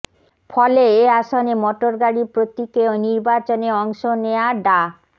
ফলে এ আসনে মটরগাড়ি প্রতীকে নির্বাচনে অংশ নেয়া ডা